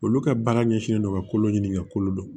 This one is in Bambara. Olu ka baara ɲɛsinnen don ka kolo ɲini ka kolo dɔn